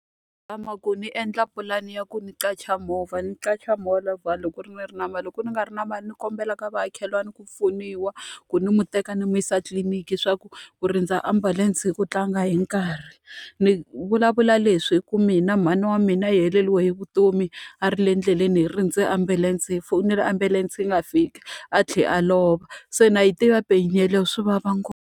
Zama ku ni endla pulani ya ku ni qacha movha ni qacha movha loko ku ri ni na mali loko ni nga ri na mali ni kombela ka vamakhelwani ku pfuniwa, ku ni n'witeka ni n'wi yisa etliliniki leswaku ku rindza ambulense i ku tlanga yini nkarhi. Ni vulavula leswi hikuva mina mhani wa mina yi heleriwe hi vutomi a ri le endleleni hi rindze ambulense, hi fonela ambulense yi nga fiki, a tlhela a lova se na yi tiva pain yeleyo swi vava ngopfu.